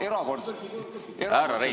Härra Reinsalu!